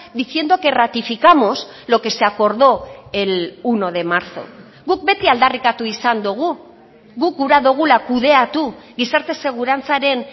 diciendo que ratificamos lo que se acordó el uno de marzo guk beti aldarrikatu izan dugu guk gura dugula kudeatu gizarte segurantzaren